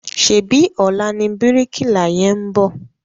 Ṣèbí ọ̀la ni bíríkìlà yẹn ń bọ̀?